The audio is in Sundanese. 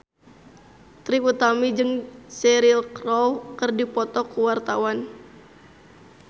Trie Utami jeung Cheryl Crow keur dipoto ku wartawan